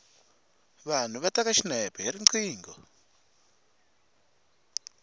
vanhu va teka xinepe hi riqingho